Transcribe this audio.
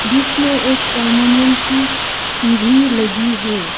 बीच में एक अल्युमिनियम की सीढ़ी लगी हुई है।